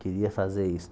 Queria fazer isso.